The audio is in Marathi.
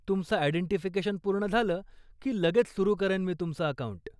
तुमचं आयडेंटिफिकेशन पूर्ण झालं की लगेच सुरु करेन मी तुमचं अकाऊंट.